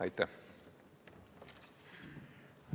Aitäh!